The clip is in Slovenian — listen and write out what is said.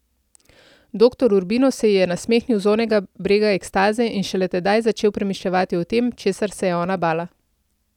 Doktor Urbino se ji je nasmehnil z onega brega ekstaze in šele tedaj začel premišljevati o tem, česar se je ona bala.